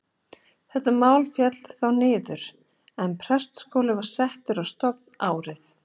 Þetta mál féll þá niður, en prestaskóli var settur á stofn árið